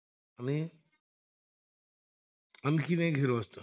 आणखीन एक हिरो असतो